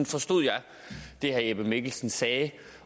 forstod jeg det herre jeppe mikkelsen sagde